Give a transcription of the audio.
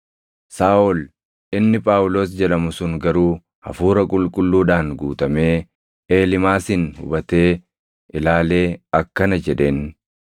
Saaʼol inni Phaawulos jedhamu sun garuu Hafuura Qulqulluudhaan guutamee Eelimaasin hubatee ilaalee akkana jedheen;